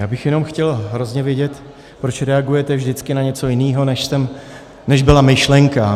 Já bych jenom chtěl hrozně vědět, proč reagujete vždycky na něco jiného, než byla myšlenka.